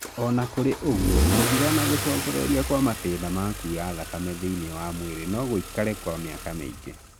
Ona kũrĩ ũguo, gũthira na gũcokereria kwa matina ma kura thakame thĩiniĩ wa mwĩrĩ no gũikare kwa mĩaka mĩingi